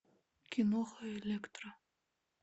киноха электро